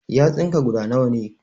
Yatsun ka guda nawa ne?